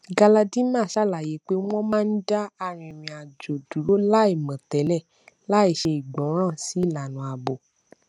galadima ṣàlàyé pé wọn máa ń dá arìnrìnàjò dúró láìmọ tẹlẹ láìṣe ìgbọràn sí ìlànà ààbò